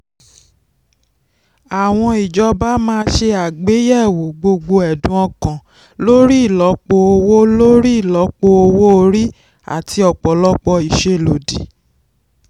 àwọn ìjọba máa ṣe àgbéyẹ̀wò gbogbo ẹ̀dùn ọkàn lórí ìlọ́po owó lórí ìlọ́po owó orí àti ọ̀pọ̀lọpọ̀ ìṣèlódì.